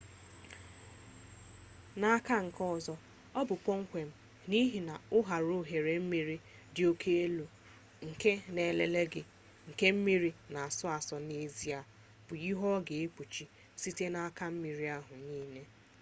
n'aka nke ọzọ ọ bụ kpomkwem n'ihi na ụharaohere mmiri dị oke elu nke na nlele gị nke mmiri na-asọ asọ n'ezie bụ ihe ọ ga-ekpuchi-site n'aka mmiri ahụ niile